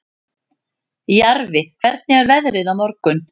Jarfi, hvernig er veðrið á morgun?